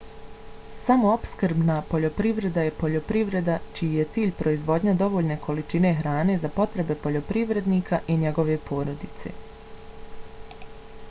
samoopskrbna poljoprivreda je poljoprivreda čiji je cilj proizvodnja dovoljne količine hrane za potrebe poljoprivrednika i njegove porodice